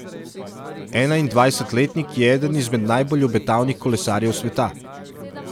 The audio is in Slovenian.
Enaindvajsetletnik je eden izmed najbolj obetavnih kolesarjev sveta.